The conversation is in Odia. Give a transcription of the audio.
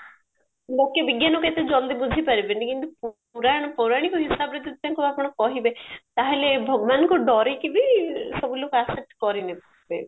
ଲୋକେ ବିଜ୍ଞାନକୁ ଏତେ ଜଲଦି ବୁଝିପାରିବେନି କିନ୍ତୁ ପୁରାଣ ପୌରଣିକ ହିସାବରେ ଯଦି ତାଙ୍କୁ ଆପଣ କହିବେ ତାହେଲେ ଭଗବାନଙ୍କୁ ଡରିକି ବି ସବୁ ଲୋକ accept କରିନେବେ